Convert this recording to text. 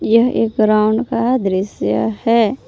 यह एक ग्राउंड का दृश्य है।